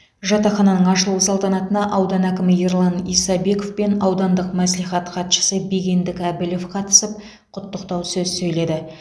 жатақхананың ашылу салтанатына аудан әкімі ерлан исабеков пен аудандық мәслихат хатшысы бегендік әбілов қатысып құттықтау сөз сөйледі